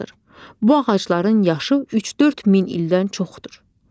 Bu ağacların yaşı 3-4 min ildən çoxdur.